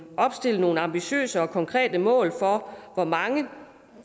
opstillet nogle ambitiøse og konkrete mål for hvor mange